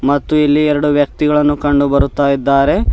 ಮತ್ತು ಇಲ್ಲಿ ಎರಡು ವ್ಯಕ್ತಿಗಳನ್ನು ಕಂಡುಬರುತಾಇದ್ದಾರೆ.